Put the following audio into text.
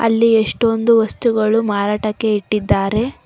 ಇಲ್ಲಿ ಎಷ್ಟೊಂದು ವಸ್ತುಗಳು ಮಾರಾಟಕ್ಕೆ ಇಟ್ಟಿದ್ದಾರೆ.